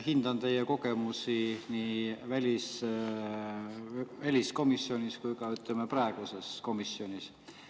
Hindan teie kogemusi nii väliskomisjonis kui ka praeguses komisjonis.